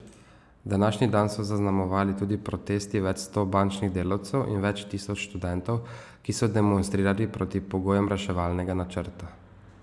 Današnji dan so zaznamovali tudi protesti več sto bančnih delavcev in več tisoč študentov, ki so demonstrirali proti pogojem reševalnega načrta.